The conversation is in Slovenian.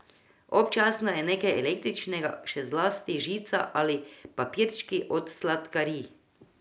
Občasno je nekaj električnega, še zlasti žica ali papirčki od sladkarij.